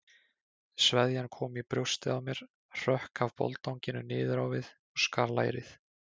Sveðjan kom í brjóstið á mér, hrökk af boldanginu niður á við og skar lærið.